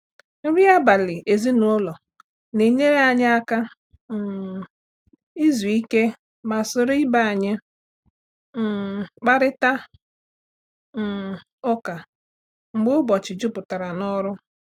Nri abalị ezinụlọ na-enyere anyị aka um izu ike ma soro ibe anyị um kparịta um ụka mgbe ụbọchị juputara n'ọrụ.